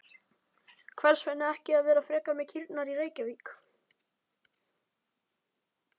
Hvers vegna ekki að vera frekar með kýrnar í Reykjavík?